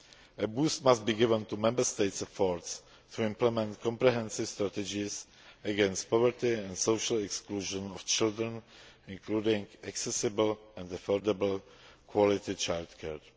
A boost must be given to Member States' efforts to implement comprehensive strategies against poverty and social exclusion of children, including accessible and affordable quality childcare.